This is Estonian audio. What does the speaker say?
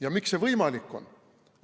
Ja miks see võimalik on?